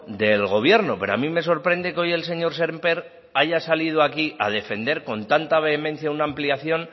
del gobierno pero a mí me sorprende que hoy el señor sémper haya salido aquí a defender con tanta vehemencia una ampliación